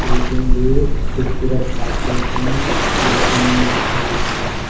Painting भी खूबसूरत मारते है देखने मे अच्छा दिखता है।